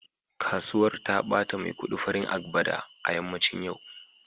Kasuwar ta bata maikudi farin agbada a yammacin yau